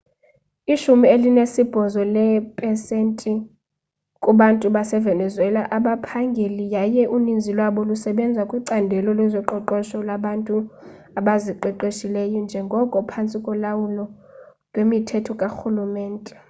ishumi elinesibhozo leepesenti kubantu basevenuezela abaphangeli yaye uninzi lwabo lusebenza kwicandelo lezoqoqosho labantu abaziqeshileyo nelingekho phantsi kolawulo lwemithetho karhulumente